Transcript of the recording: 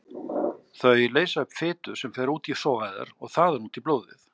Þau leysa upp fitu sem fer út í sogæðar og þaðan út í blóðið.